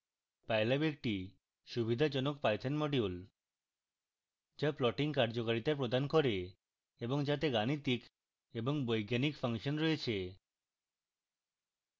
pylab একটি সুবিধাজনক python module